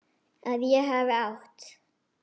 Að ég hafi átt.?